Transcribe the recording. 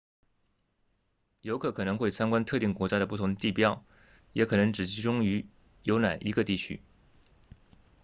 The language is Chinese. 游客可能会参观特定国家的不同地标也可能只集中游览一个地区